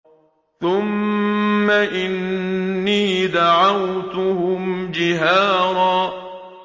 ثُمَّ إِنِّي دَعَوْتُهُمْ جِهَارًا